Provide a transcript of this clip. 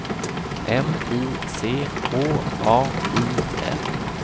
M I C H A I L